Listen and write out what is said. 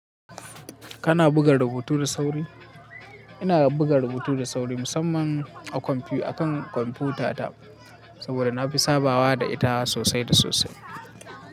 Kana buga rubutu da sauri? Ina buga rubutu da sauri musamman a kan kwamfutata saboda na fi sabawa da ita sosai da sosai.